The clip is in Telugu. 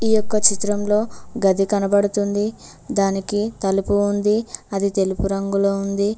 ఈ యొక్క చిత్రంలో గది కనబడుతుంది దానికి తలుపు ఉంది అది తెలుపు రంగులో ఉంది.